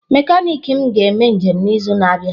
Mekaniki m ga-eme njem n'izu na-abịa.